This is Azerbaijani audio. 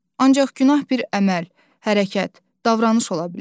Ancaq günah bir əməl, hərəkət, davranış ola bilər.